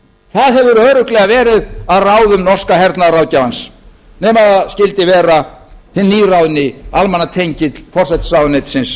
það hefur örugglega verið að ráðum norska hernaðarráðgjafans nema það skyldi vera hinn nýráðni almannatengill forsætisráðuneytisins